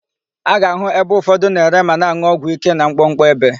A ga-àhụ́ ebe ụfọdụ na-ere ma na-an̄ụ ọgwụ íké na mkpọkpọ ebe.